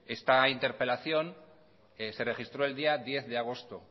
esta interpelación se registro el día diez de agosto